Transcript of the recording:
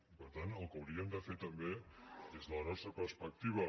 i per tant el que hauríem de fer també des de la nostra perspec·tiva